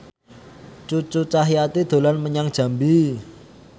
Cucu Cahyati dolan menyang Jambi